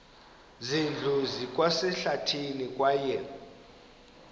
zindlu zikwasehlathini kwaye